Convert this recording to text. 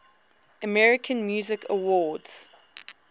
american music awards